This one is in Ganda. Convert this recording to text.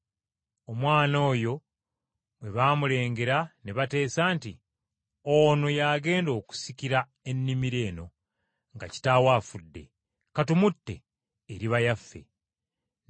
“Omwana oyo bwe baamulengera ne bateesa nti, ‘Ono y’agenda okusikira ennimiro eno nga kitaawe afudde. Ka tumutte, ebyobusika tubyesigalize.’